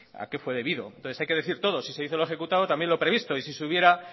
a qué fue debido entonces hay que decir todo si se hizo lo ejecutado también lo previsto y si se hubiera